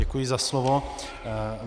Děkuji za slovo.